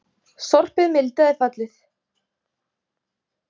Sorpið mildaði fallið